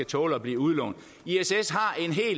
tåle at blive udlånt